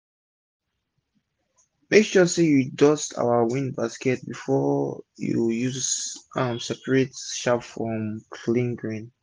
make sure say u dust ur wind basket before basket before u use am separate chaff from clean grain